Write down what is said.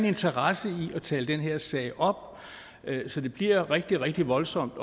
interesse i at tale den her sag op så det bliver rigtig rigtig voldsomt